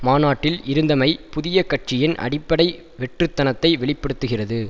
மாநாட்டில் இருந்தமை புதிய கட்சியின் அடிப்படை வெற்றுத்தனத்தை வெளி படுத்துகிறது